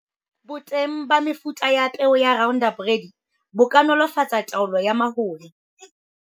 Boteng ba mefuta ya peo ya Roundup Ready bo ka nolofatsa taolo ya mahola.